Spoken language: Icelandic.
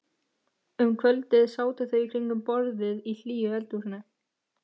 Um kvöldið sátu þau í kringum borðið í hlýju eldhúsinu.